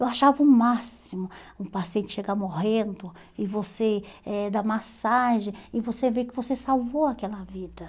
Eu achava o máximo um paciente chegar morrendo e você eh dar massagem e você ver que você salvou aquela vida.